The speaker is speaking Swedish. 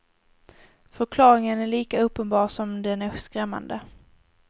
Förklaringen är lika uppenbar som den är skrämmande.